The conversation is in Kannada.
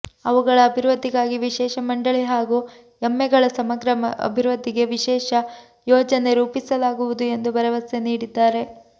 ಅವುಗಳ ಅಭಿವೃದ್ಧಿಗಾಗಿ ವಿಶೇಷ ಮಂಡಳಿ ಹಾಗೂ ಎಮ್ಮೆಗಳ ಸಮಗ್ರ ಅಭಿವೃದ್ಧಿಗೆ ವಿಶೇಷ ಯೋಜನೆ ರೂಪಿಸಲಾಗುವುದು ಎಂದು ಭರವಸೆ ನೀಡಿದ್ದಾರೆ